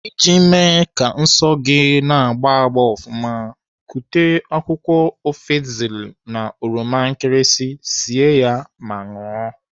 Iji mee ka nsọ gị na-anahụ agba gbaa ofụma, kụta akwụkwọ afzeli na oroma nkirisi sie ya ma ṅụọ.